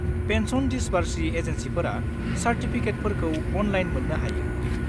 Pension दिसबार्सिं एजेन्सिफोरा चार्टिफिकेटफोरखौ अनलाइन मोन्नो हायो।